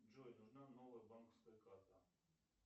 джой нужна новая банковская карта